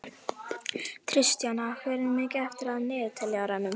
Tristana, hvað er mikið eftir af niðurteljaranum?